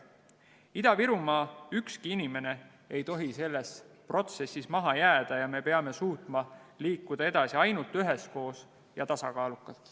Ükski Ida-Virumaa inimene ei tohi selles protsessis maha jääda ja me peame suutma edasi liikuda ainult üheskoos ja tasakaalukalt.